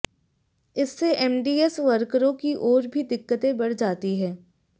इससे एमडीएस वर्करों की और भी दिक्कते बढ़ जाती हैं